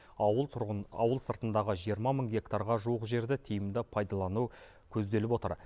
ауыл тұрғын ауыл сыртындағы жиырма мың гектарға жуық жерді тиімді пайдалану көзделіп отыр